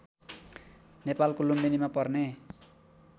नेपालको लुम्बिनीमा पर्ने